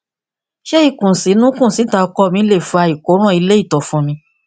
ṣé ìkùnsínú kùnsíta ọkọ mi lè fa ìkóràn ilé ìtọ fún mi